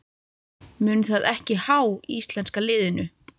Mun það ekki há íslenska liðinu?